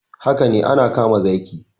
Haka ne ana kama zaki